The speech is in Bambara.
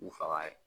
K'u faga yen